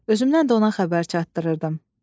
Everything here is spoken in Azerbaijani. Özümdən də ona xəbər çatdırırdım.